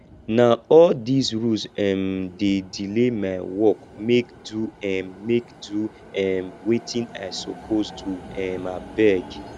na all dese rules um dey delay my work make do um make do um wetin i suppose do um abeg